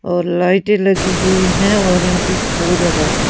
और लाइटें लगी हुई है और यहां पे एक बोर्ड लगा हुआ --